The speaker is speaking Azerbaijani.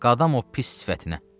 Qadan o pis sifətinə.